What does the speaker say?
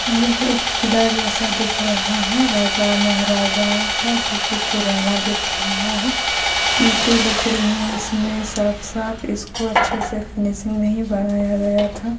यह एक किला जैसा दिख रहा है राजा महाराजाओ का जोकि पुराना दिख रहा है ईंटें दिख रही है इसमें साफ-साफ इसको अच्छे से फिनसिग नहीं बनाया गया था ।